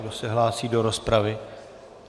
Kdo se hlásí do rozpravy?